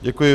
Děkuji.